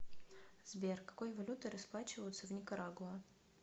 сбер какой валютой расплачиваются в никарагуа